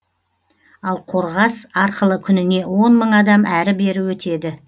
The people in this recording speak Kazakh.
ал қорғас арқылы күніне он мың адам әрі бері өтеді